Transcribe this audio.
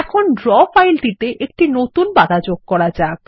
এখন ড্র ফাইলটিতে একটি নতুন পাতা যোগ করা যাক